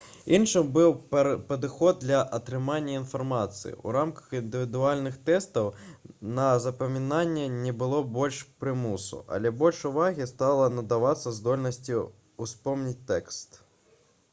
іншым быў падыход для атрымання інфармацыі у рамках індывідуальных тэстаў на запамінанне не было больш прымусу але больш увагі стала надавацца здольнасці ўспомніць тэкст